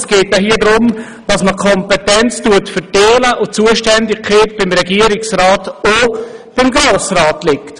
Es geht vielmehr darum, dass man die Kompetenz verteilt und die Zuständigkeit bei Regierungsrat und Grossem Rat liegt.